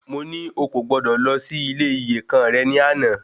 Mo ní o kò gbọdọ̀ lọ sí ilé iyèkan rẹ ní àná